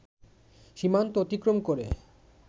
সীমান্ত অতিক্রম করে